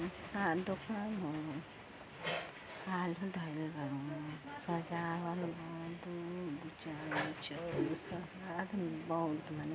आ दोकान ह। आलू धइल बा एमे सजावल बा। दू दू चार दू छः दू सात आठ नौ ठ मने --